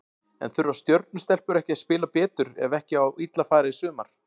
En þurfa Stjörnu stelpur ekki að spila betur ef ekki á illa fara í sumar?